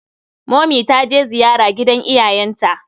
Momi ta je ziyara gidan iyayenta.